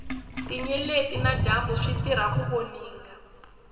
tinyeleti na dyambu switirha ku voninga